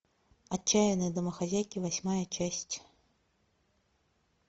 отчаянные домохозяйки восьмая часть